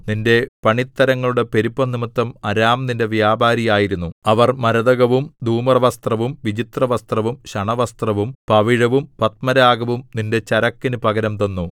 നിന്റെ പണിത്തരങ്ങളുടെ പെരുപ്പംനിമിത്തം അരാം നിന്റെ വ്യാപാരി ആയിരുന്നു അവർ മരതകവും ധൂമ്രവസ്ത്രവും വിചിത്രവസ്ത്രവും ശണവസ്ത്രവും പവിഴവും പത്മരാഗവും നിന്റെ ചരക്കിനു പകരം തന്നു